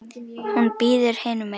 Hún bíður hinum megin.